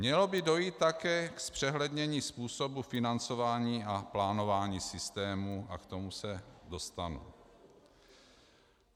Mělo by dojít také k zpřehlednění způsobu financování a plánování systému, a k tomu se dostanu.